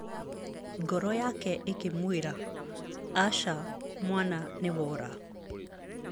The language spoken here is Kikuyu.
Ngoro yake ĩkĩmwĩra, "Aca, mwana, nĩ wora."